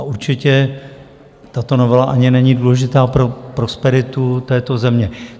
A určitě tato novela ani není důležitá pro prosperitu této země.